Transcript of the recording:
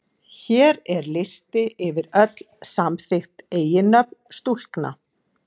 Hér er listi yfir öll samþykkt eiginnöfn stúlkna.